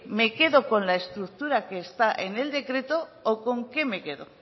me quedo con la estructura que está en el decreto o con qué me quedo